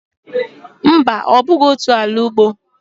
Mba, ọ bụghị otu ala ugbo.